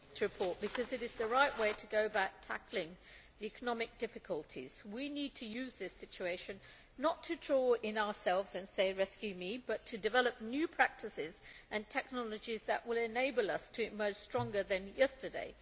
Mr President, we supported this report because it is the right way to go about tackling economic difficulties. We need to use this situation, not to draw in on ourselves and say rescue me', but to develop new practices and technologies that will enable us to emerge stronger than yesterday.